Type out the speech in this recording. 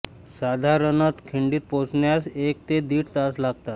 साधारणतः खिंडीत पोहोचण्यास एक ते दीड तास लागतात